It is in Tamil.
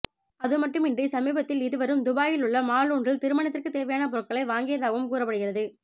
அதுமட்டுமின்றி சமீபத்தில் இருவரும் துபாயில் உள்ள மால் ஒன்றில் திருமணத்திற்கு தேவையான பொருட்களை வாங்கியதாகவும் கூறப்படுகிறது